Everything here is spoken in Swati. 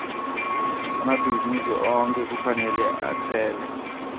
emabhizinisi onkhe kufanele atsele